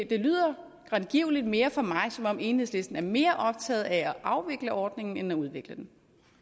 det lyder grangivelig mere for mig som om enhedslisten er mere optaget af at afvikle ordningen end at udvikle den